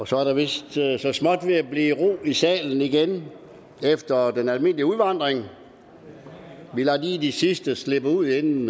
så er der vist så småt ved at blive i ro i salen igen efter den almindelige udvandring vi lader lige de sidste slippe ud inden